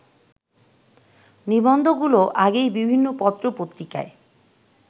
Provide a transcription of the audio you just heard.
নিবন্ধগুলো আগেই বিভিন্ন পত্রপত্রিকায়